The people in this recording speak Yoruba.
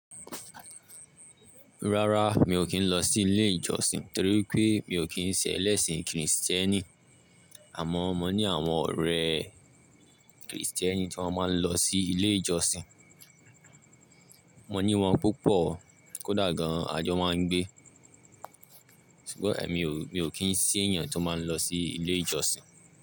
Rárá mi ò kí ń lọ sí ilé ìjọsìn torí wipé mi ò kí ń ṣe ẹlẹ́sìn kìrìsìtẹ́nì. Àmọ́ mo ní àwọn ọ̀rẹ́ kìrìsìtẹ́nì tí wọ́n máa ń lọ sí ilé ìjọsìn. Mo ní wọn púpọ̀ kó dà gan ajọ máa ń gbé. Sugbon mi ò kí ń ṣe èèyàn tó máa ń lọ sí ilé ìjọsìn.